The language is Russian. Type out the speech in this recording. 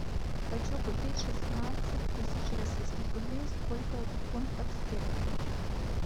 хочу купить шестнадцать тысяч российских рублей сколько это в фунтах стерлингов